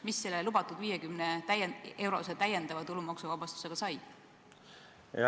Mis selle lubatud 50-eurose täiendava tulumaksuvabastusega sai?